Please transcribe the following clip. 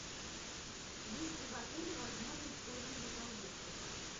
есть ли в отеле возможность позднего заезда